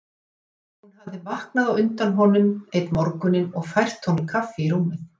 Hún hafði vaknað á undan honum einn morguninn og fært honum kaffi í rúmið.